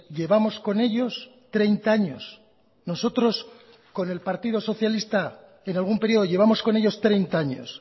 llevamos con ellos treinta años nosotros con el partido socialista en algún período llevamos con ellos treinta años